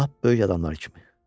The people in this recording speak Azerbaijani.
Lap böyük adamlar kimi.